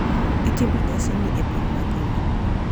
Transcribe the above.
Itimo nyasini e piny mangima,